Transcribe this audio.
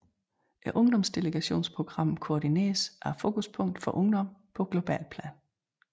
Ungdomsdelegationsprogrammet koordineres af Fokuspunktet for Ungdom på globalt plan